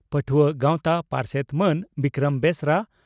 ᱯᱟᱹᱴᱷᱩᱣᱟᱹ ᱜᱟᱣᱛᱟ ᱯᱟᱨᱥᱮᱛ ᱢᱟᱱ ᱵᱤᱠᱨᱚᱢ ᱵᱮᱥᱨᱟ